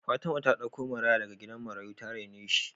Fatima ta ɗauko maraya daga gidan marayu ta raine shi